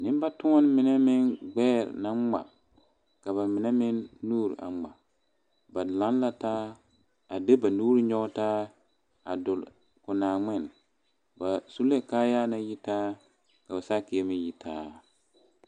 Neŋbatoɔne mine meŋ gbɛɛ naŋ ngma ka ba mine meŋ nuure a ngma ba laŋ la taa a de ba nuure nyoge taa a dule ko naangmen ba su la kaayaa naŋ yitaa ka ba saakire meŋ yitaa.